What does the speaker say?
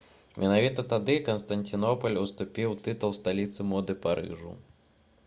менавіта тады канстанцінопаль уступіў тытул сталіцы моды парыжу